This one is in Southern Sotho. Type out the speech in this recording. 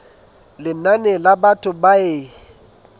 lenane la batho ba e